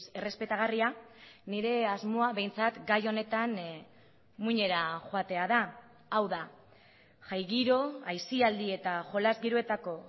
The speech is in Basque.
errespetagarria nire asmoa behintzat gai honetan muinera joatea da hau da jai giro aisialdi eta jolas giroetako